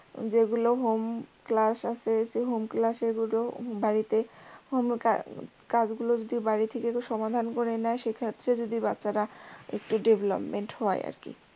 যেগুলো homeclass আছে সেই home class গুলো বাড়িতেই কাজ গুল যদি বাড়ি থেকেই সমাধান করে নেয় সেক্ষেত্রে যদি বাচ্চা রা একটু development হয় আর কি।